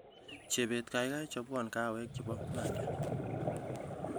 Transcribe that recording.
Chebet kaikai chobwo kahawek chebo Malia